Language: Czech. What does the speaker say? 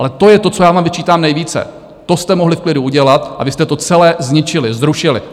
Ale to je to, co já vám vyčítám nejvíce: to jste mohli v klidu udělat, a vy jste to celé zničili, zrušili.